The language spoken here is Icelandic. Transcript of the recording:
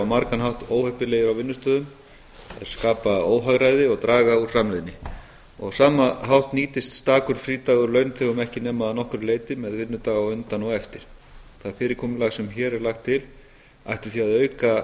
margan hátt óheppilegir á vinnustöðum þeir skapa óhagræði og draga úr framleiðni og á sama hátt nýtist stakur frídagur launþegum ekki nema að nokkru leyti með vinnudag á undan og á eftir það fyrirkomulag sem hér er lagt til ætti því að auka